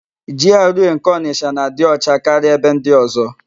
Jiarụee nke Onịsha na-adị ọcha karịa ebe ndị ọ̀zọ́.